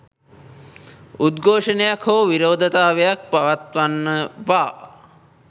උද්ඝෝෂණයක් හෝ විරෝධතාවක් පවත්වනවා.